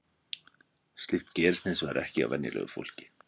slíkt gerist hins vegar ekki hjá venjulegu fólki